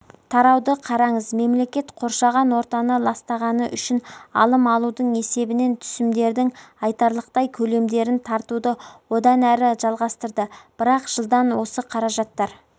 тарауды қараңыз мемлекет қоршаған ортаны ластағаны үшін алым алудың есебінен түсімдердің айтарлықтай көлемдерін тартуды одан әрі жалғастырды бірақ жылдан осы қаражаттар